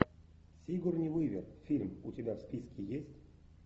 сигурни уивер фильм у тебя в списке есть